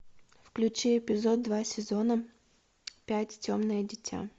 включи эпизод два сезона пять темное дитя